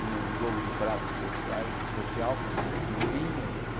Tinha um jogo de prato especiais especial com com figurinhas, et